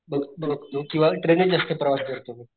बघ बघ बघतो किंवा ट्रेन नेच जास्त प्रवास करतो मी.